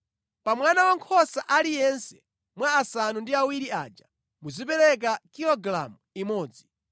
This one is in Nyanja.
Pa mwana wankhosa aliyense mwa asanu ndi awiri aja muzipereka kilogalamu imodzi.